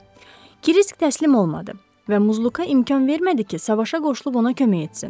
Kriski təslim olmadı və Muzluka imkan vermədi ki, savaşa qoşulub ona kömək etsin.